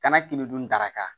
Kana kɛmɛ duuru daraka ta